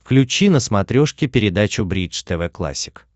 включи на смотрешке передачу бридж тв классик